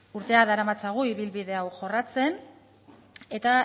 urteak daramatzagu ibilbide hau jorratzen eta